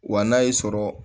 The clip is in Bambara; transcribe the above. Wa n'a y'i sɔrɔ